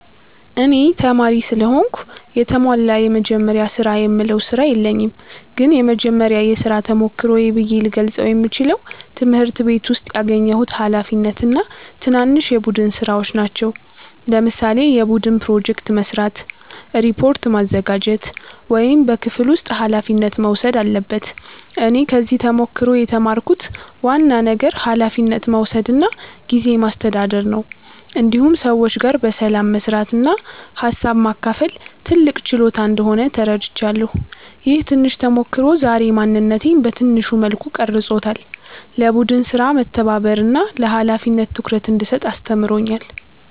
እኔ ተማሪ ስለሆንኩ የተሟላ “የመጀመሪያ ስራ”የምለው ስራ የለኝም ግን የመጀመሪያ የሥራ ተሞክሮዬ ብዬ ልገልጸው የምችለው ትምህርት ቤት ውስጥ ያገኘሁት ኃላፊነት እና ትናንሽ የቡድን ሥራዎች ናቸው። ለምሳሌ የቡድን ፕሮጀክት መስራት፣ ሪፖርት ማዘጋጀት ወይም በክፍል ውስጥ ኃላፊነት መውሰድ አለበት እኔ ከዚህ ተሞክሮ የተማርኩት ዋና ነገር ኃላፊነት መውሰድ እና ጊዜ ማስተዳደር ነው። እንዲሁም ሰዎች ጋር በሰላም መስራት እና ሀሳብ ማካፈል ትልቅ ችሎታ እንደሆነ ተረድቻለሁ። ይህ ትንሽ ተሞክሮ ዛሬ ማንነቴን በትንሹ መልኩ ቀርጾታል፤ ለቡድን ሥራ መተባበርን እና ለኃላፊነት ትኩረት እንድሰጥ አስተምሮኛል።